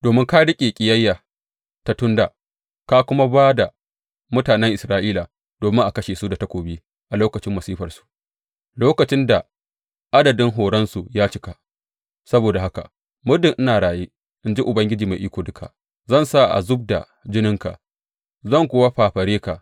Domin ka riƙe ƙiyayya ta tun dā, ka kuma ba da mutanen Isra’ila domin a kashe su da takobi a lokacin masifarsu, lokacin da adadin horonsu ya cika, saboda haka muddin ina raye, in ji Ubangiji Mai Iko Duka, zan sa a zub da jininka zan kuwa fafare ka.